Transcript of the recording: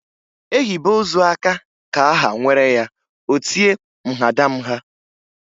E hibe ozu aka ka a ha nwere ya o tie mhadamha.